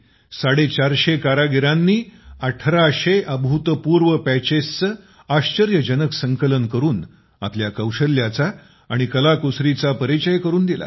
450 कारागिरांनी 1800 अभूतपूर्व पॅचेसचं आश्चर्यजनक संकलन करून आपल्या कौशल्याचा आणि कलाकुसरीचा परिचय करून दिला